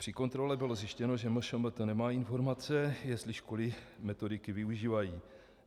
Při kontrole bylo zjištěno, že MŠMT nemá informace, jestli školy metodiky využívají.